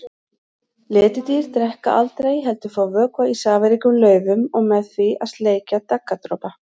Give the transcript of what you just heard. Letidýr drekka aldrei heldur fá vökva í safaríkum laufum og með því að sleikja daggardropa.